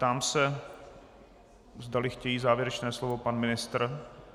Ptám se, zdali chtějí závěrečné slovo - pan ministr.